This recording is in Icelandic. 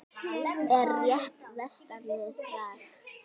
Er rétt vestan við Prag.